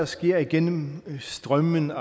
skære igennem strømmen